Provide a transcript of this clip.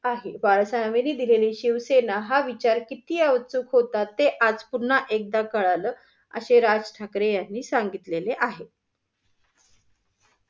आहे. बाळासाहेबांनी दिलेली शिवसेना हा विचार किती अचूक होता ते आज पुन्हा एकदा कळालं, अशे राज ठाकरे यांनी सांगितलेले आहे.